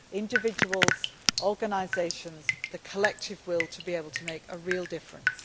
It is about individuals, organisations and the collective will to be able to make a real difference.